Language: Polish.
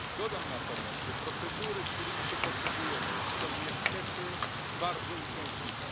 Dodam natomiast, że procedury, którymi się posługujemy, są niestety bardzo uciążliwe.